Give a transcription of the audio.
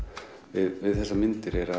við þessar myndir